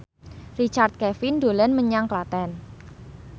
Richard Kevin dolan menyang Klaten